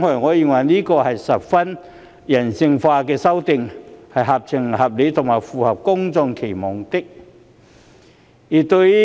我認為，這是十分人性化的修訂，合情合理和符合公眾期望。